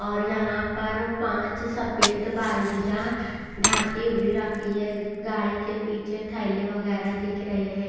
और यहां पर पांच सफेद बाल्डिया ढकी हुई रखी है गाड़ी के पीछे थैले वगैरह दिख रहे हैं।